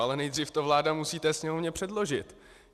Ale nejdřív to vláda musí té Sněmovně předložit.